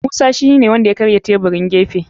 Musa shine wanda ya karya taburin gefen.